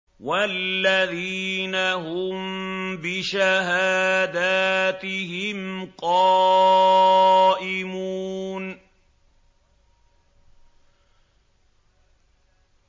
وَالَّذِينَ هُم بِشَهَادَاتِهِمْ قَائِمُونَ